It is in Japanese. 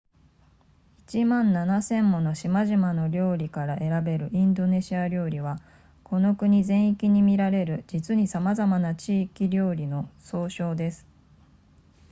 1万7千もの島々の料理から選べるインドネシア料理はこの国全域に見られる実にさまざまな地域料理の総称です